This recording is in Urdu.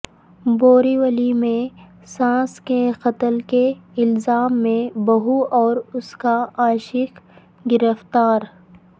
بوریولی میں ساس کے قتل کے الزام میں بہو اور اس کا عاشق گرفتار